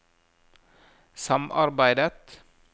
samarbeidet